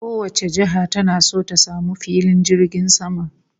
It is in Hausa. Kowace jiha tana so ta samu filin jirgin sama